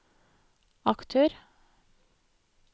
aktør